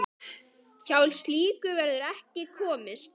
Hjá slíku verður ekki komist.